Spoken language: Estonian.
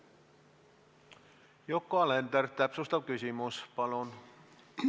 Yoko Alender, täpsustav küsimus, palun!